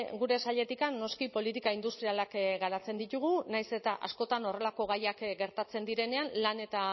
gure sailetik noski politika industrialak garatzen ditugu nahiz eta askotan horrelako gaiak gertatzen direnean lan eta